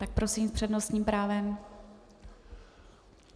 Tak prosím s přednostním právem.